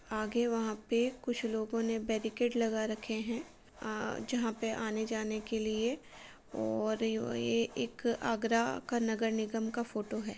आगे वहाँ पे कुछ लोगों ने बैरिकेट लगा रखे हैं। अं जहाँ पे आने के लिए और यव-ए-एक आगरा का नगर निगम का फोटो है।